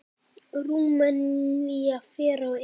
Rúmenía fer á EM.